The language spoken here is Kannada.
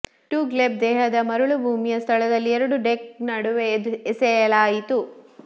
ಟು ಗ್ಲೆಬ್ ದೇಹದ ಮರಳುಭೂಮಿಯ ಸ್ಥಳದಲ್ಲಿ ಎರಡು ಡೆಕ್ ನಡುವೆ ಎಸೆಯಲಾಯಿತು